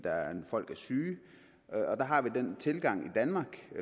folk er syge og der har vi den tilgang i danmark